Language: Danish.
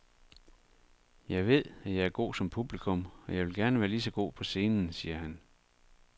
Jeg ved, at jeg er god som publikum, og jeg vil gerne være lige så god på scenen, siger han.